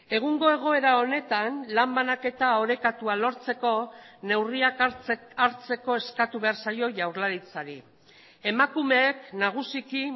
egungo egoera honetan lan banaketa orekatua lortzeko neurriak hartzeko eskatu behar zaio jaurlaritzari emakumeek nagusiki